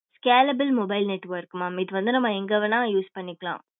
scalable mobile network mam இது வந்து நம்ம எங்க வேணா use பண்ணிக்கலாம்